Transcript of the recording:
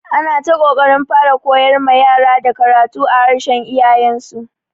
Ana ta ƙoƙarin fara koyar ma yara da karatu a harshen iyayen su.